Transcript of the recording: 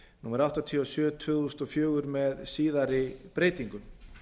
númer áttatíu og sjö tvö þúsund og fjögur með síðari breytingum